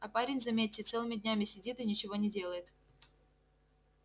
а парень заметьте целыми днями сидит и ничего не делает